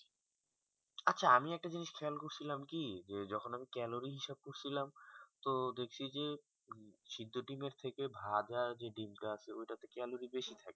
আচ্ছা আমি একটা খেয়াল করছিলাম কি যে যখন আমি ক্যালোরি হিসাব করছিলাম তো দেখসি কি সিদ্দ ডিমের থেকে ভাজা যে ডিম তো আছে ওটা তে ক্যালোরি বেশি থাকে